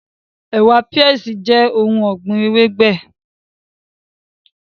Ẹ̀wà(peas) jẹ́ ohun ọ̀gbìn ewébẹ̀